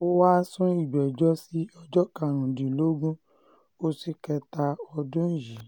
ó wáá sún ìgbẹ́jọ́ sí ọjọ́ karùndínlógún oṣù kẹta ọdún yìí